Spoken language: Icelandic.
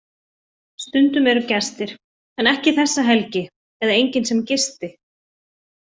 Stundum eru gestir en ekki þessa helgi eða enginn sem gisti.